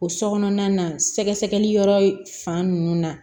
O so kɔnɔna na sɛgɛsɛgɛli yɔrɔ fan nunnu na